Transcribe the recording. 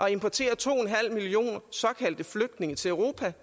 at importere to millioner såkaldte flygtninge til europa